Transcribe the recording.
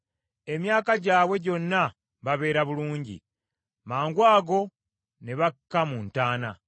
Emyaka gyabwe gyonna babeera bulungi, mangwago ne bakka mu ntaana.